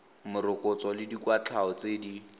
morokotso le dikwatlhao tse di